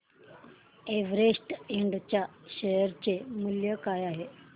Everest इंड च्या share चे मूल्य काय आहे